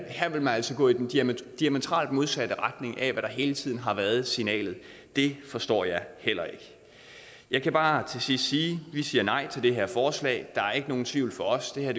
vil man altså gå i den diametralt modsatte retning af hvad der hele tiden har været signalet det forstår jeg heller ikke jeg kan bare til sidst sige at vi siger nej til det her forslag der er ikke nogen tvivl for os det her